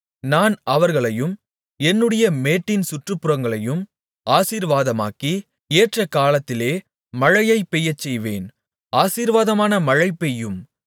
நான் அவர்களையும் என்னுடைய மேட்டின் சுற்றுப்புறங்களையும் ஆசீர்வாதமாக்கி ஏற்றகாலத்திலே மழையைப் பெய்யச்செய்வேன் ஆசீர்வாதமான மழை பெய்யும்